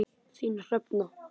Þín, Hrefna.